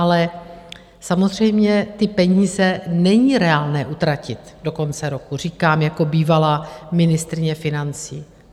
Ale samozřejmě ty peníze není reálné utratit do konce roku, říkám jako bývalá ministryně financí.